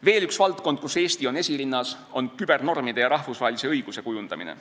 Veel üks valdkond, kus Eesti on esirinnas, on kübernormide ja rahvusvahelise õiguse kujundamine.